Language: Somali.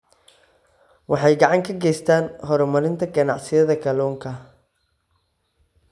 Waxay gacan ka geystaan ??horumarinta ganacsiyada kalluunka.